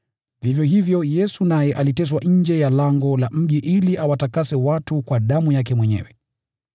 Vivyo hivyo, Yesu naye aliteswa nje ya lango la mji ili awatakase watu kwa damu yake mwenyewe.